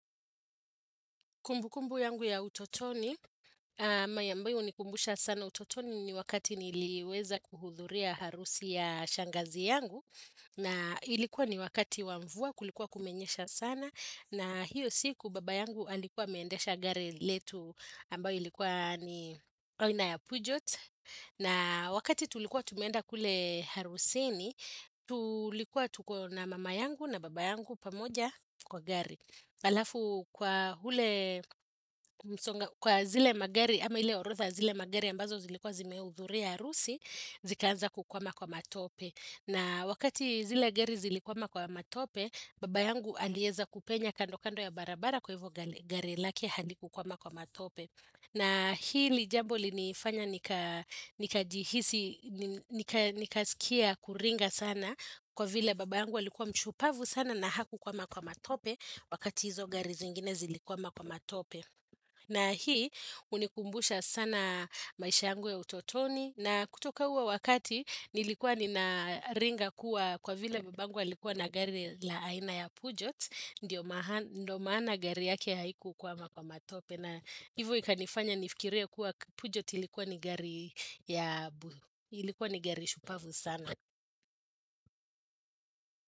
Kumbukumbu yangu ya utotoni, ambayo hunikumbusha sana utotoni ni wakati niliweza kuhudhuria harusi ya shangazi yangu. Na ilikuwa ni wakati wa mvua, kulikuwa kumenyesha sana. Na hiyo siku baba yangu alikuwa ameendesha gari letu ambayo ilikuwa ni aina ya Pujot. Na wakati tulikuwa tumeenda kule harusini, tulikuwa tuko na mama yangu na baba yangu pamoja kwa gari. Halafu kwa ule msonga kwa zile magari ama hile orodha ya zile magari ambazo zilikuwa zimehudhuria harusi zikaanza kukwama kwa matope na wakati zile gari zilikwama kwa matope baba yangu alieza kupenya kando kando ya barabara kwa hivyo gari lake halikukwama kwa matope na hili jambo linifanya nikajihisi, nikasikia kuringa sana kwa vile baba yangu alikuwa mshupavu sana na hakukwama kwa matope wakati hizo gari zingine zilikwama kwa matope. Na hii hunikumbusha sana maisha yangu ya utotoni na kutoka huo wakati nilikuwa ninaringa kuwa kwa vile baba yangu alikuwa na gari la aina ya Pujot. Ndio maana gari yake haikukwama kwa matope na hivo ikanifanya nifikirie kuwa pujot ilikuwa ni gari ya buhu ilikuwa ni gari shupavu sana.